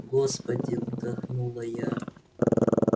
господи вдохнула я